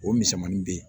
O misɛnmanin bɛ ye